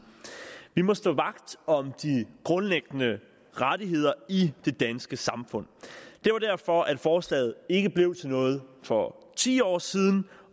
vi må stå vagt om de grundlæggende rettigheder i det danske samfund det var derfor at forslaget ikke blev til noget for ti år siden